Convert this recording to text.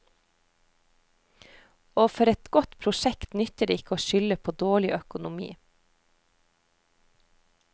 Og for et godt prosjekt nytter det ikke å skylde på dårlig økonomi.